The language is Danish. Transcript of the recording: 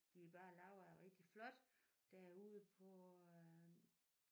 De er bare lavet rigtig flot derude på øh